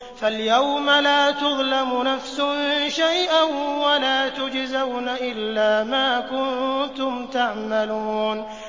فَالْيَوْمَ لَا تُظْلَمُ نَفْسٌ شَيْئًا وَلَا تُجْزَوْنَ إِلَّا مَا كُنتُمْ تَعْمَلُونَ